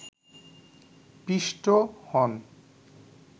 পিষ্ট হন